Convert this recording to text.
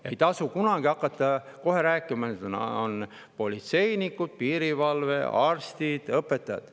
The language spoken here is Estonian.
Ja ei tasu hakata kohe rääkima, et on politseinikud, piirivalve, arstid, õpetajad.